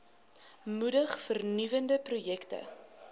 moedig vernuwende projekte